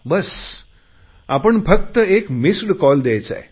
बस आपण फक्त एक मिस्ड कॉल द्यायचा आहे